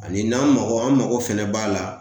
Ani n'an mako an mago fɛnɛ b'a la